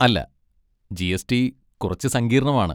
അല്ല, G. S. T കുറച്ച് സങ്കീർണമാണ്.